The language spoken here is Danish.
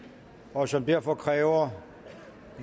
og som derfor kræver